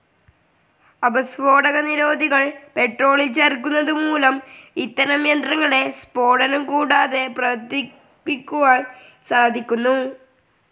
ആപസ്ഫോടകനിരോധികൾ പെട്രോളിൽ ചേർക്കുന്നത് മൂലം ഇത്തരം യന്ത്രങ്ങളെ സ്ഫോടനം കൂടാതെ പ്രവർത്തിപ്പിക്കുവാൻ സാധിക്കുന്നു.